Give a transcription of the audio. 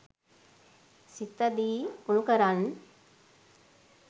සිත දිඋනු කරන්